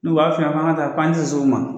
N u b'a f'i ɲɛna k'an ka taa k'an te s'u ma